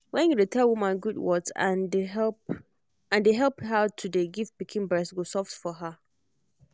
when you dey tell woman good words and dey help and dey help her to dey give pikin breast go soft for her.